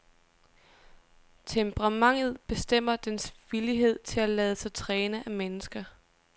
Temperamentet bestemmer dens villighed til at lade sig træne af mennesker.